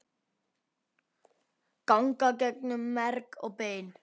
ganga gegnum merg og bein